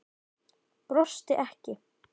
Brosti ekki.